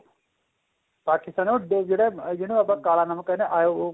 ਪਾਕਿਸਤਾਨੀਂ ਉਹ ਜਿਹੜਾ ਜਿਹਨੂੰ ਆਪਾਂ ਕਾਲਾ ਨਮਕ ਕਹਿੰਦੇ ਹਾਂ